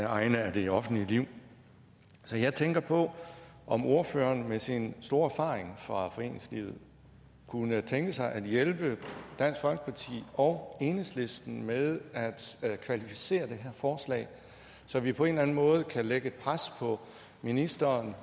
egne af det offentlige liv så jeg tænker på om ordføreren med sin store erfaring fra foreningslivet kunne tænke sig at hjælpe dansk folkeparti og enhedslisten med at kvalificere det her forslag så vi på en eller anden måde kan lægge pres på ministeren